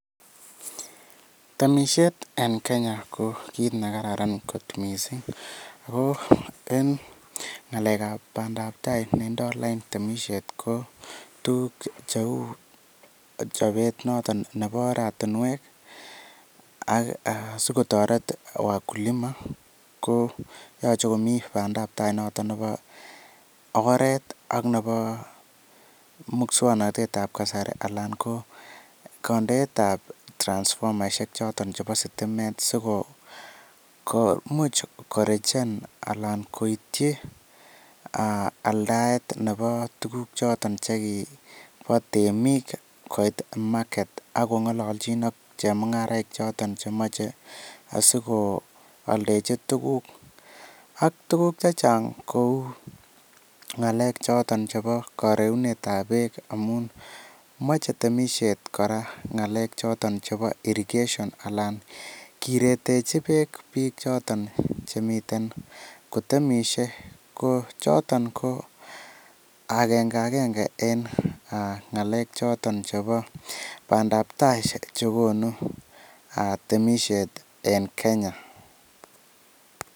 Temisiet en Kenya ko kiit nekararan kot missing' ago en ng'alekab bandaptai nendo lain temisiet ko tukuk cheu chobet noton nebo oratinuek ak sikotoret wakulima. Ko yoche komi bandaptai nebo oret ak nebo muswoknotetab kasari alan ko kondeetab transfomaisiek choton chebo sitimet siko komuch korichen alan koityi aldaet nebo tuguchoton chekibo temik koit market. Ak kong'ololchin ak chemung'araik choton chemoche asikooldechi tuguk ak tuguk chechang' kou ng'alek choton chebo koreunetab beek amun moche temisiet kora ng'alek choton chebo irrigation alan kiretechi beek biik choton chemiten kotemisie. Ko choton ko agenge agenge en ng'alechoton chebo bandaptaisiek chekonu temisiet en Kenya.